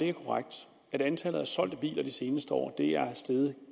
er korrekt at antallet af solgte biler de seneste år er steget